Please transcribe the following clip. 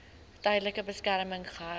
tydelike beskerming gehou